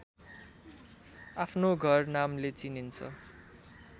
आफ्नो घर नामले चिनिन्छ